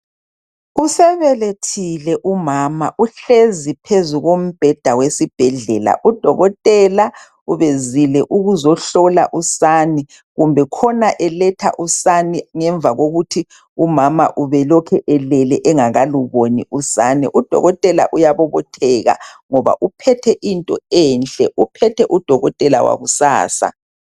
Usebelethile umama uhlezi phezu kombheda wesibhedlela . Udokotela ubezile ukuzohlola usane kumbe khona eletha usane ngemva kokuthi umama ubelokhe elele engakaluboni usane . Udokotela uyabobotheka ngoba uphethe into enhle ,uphethe udokotela wakusasa .